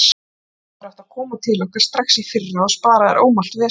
Þú hefðir átt að koma til okkar strax í fyrra og spara þér ómælt vesen.